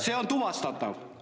See on tuvastatav!